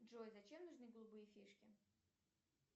джой зачем нужны голубые фишки